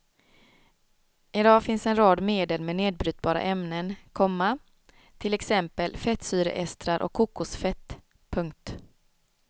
I dag finns en rad medel med nedbrytbara ämnen, komma till exempel fettsyreestrar och kokosfett. punkt